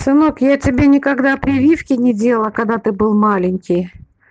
сынок я тебе никогда прививки не делала когда ты был маленький